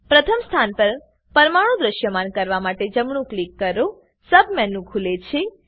પ્રથમ સ્થાન પર પરમાણુ દ્રશ્યમાન કરવા માટેજમણું ક્લિક કરોસબ મેનુ ખુલે છે